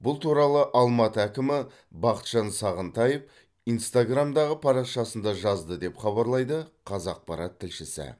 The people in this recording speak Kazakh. бұл туралы алматы әкімі бақытжан сағынтаев инстаграмдағы парақшасында жазды деп хабарлайды қазақпарат тілшісі